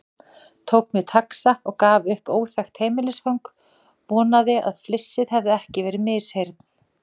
Tók mér taxa og gaf upp óþekkt heimilisfang, vonaði að flissið hefði ekki verið misheyrn.